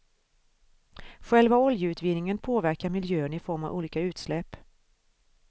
Själva oljeutvinningen påverkar miljön i form av olika utsläpp.